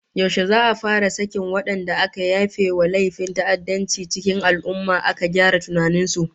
Yaushe za'a fara sakin wadanda aka yafe wa laifin ta'addanci cikin al'ummah, aka gyara tunanin su?